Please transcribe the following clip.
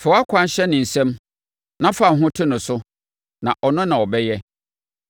Fa wʼakwan hyɛ Awurade nsam; na fa wo ho to ne so, na ɔno na ɔbɛyɛ: